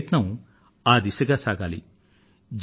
మీ ప్రయత్నం ఆ దిశగా సాగాలి